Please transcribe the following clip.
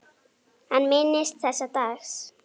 Hann minnist þessa dags.